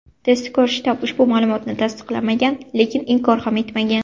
Tezkor shtab ushbu ma’lumotni tasdiqlamagan, lekin inkor ham etmagan.